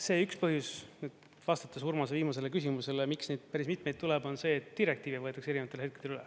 See üks põhjus, vastates Urmas viimasele küsimusele, miks neid päris mitmeid tuleb, on see, et direktiivi võetakse erinevatel hetkedel üle.